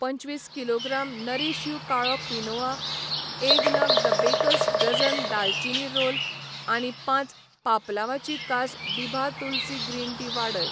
पंचवीस किलोग्राम नरीश यू काळो क्विनोआ, एक नग द बेकर्स डझन दालचिनी रोल आनी पांच पापलांवाची कास दिभा तुलसी ग्रीन टी वाडय.